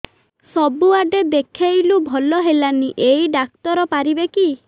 ସବୁଆଡେ ଦେଖେଇଲୁ ଭଲ ହେଲାନି ଏଇ ଡ଼ାକ୍ତର ପାରିବେ କି